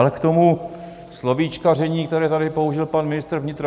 Ale k tomu slovíčkaření, které tady použil pan ministr vnitra.